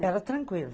Era tranquila.